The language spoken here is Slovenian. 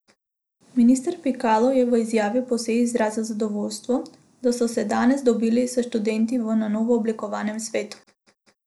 Minister Pikalo je v izjavi po seji izrazil zadovoljstvo, da so se danes dobili s študenti v na novo oblikovanem svetu.